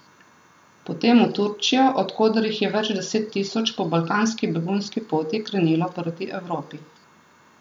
Potem v Turčijo, od koder jih je več deset tisoč po balkanski begunski poti krenilo proti Evropi.